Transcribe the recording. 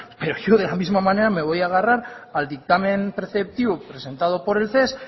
pero yo de la misma manera me voy a agarrar al dictamen preceptivo presentado por el ces